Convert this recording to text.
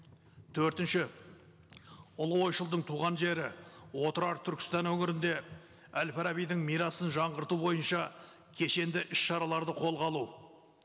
төртінші ұлы ойшылдың туған жері отырар түркістан өңірінде әл фарабидің мирасын жаңғырту бойынша кешенді іс шараларды қолға алу